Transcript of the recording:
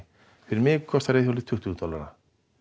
fyrir mig kostar reiðhjólið tuttugu dollara